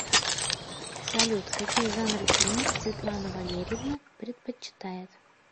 салют какие жанры фильмов светлана валерьевна предпочитает